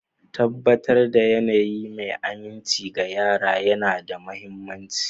Tabbatar da yanayi mai aminci ga yara yana da mahimmanci.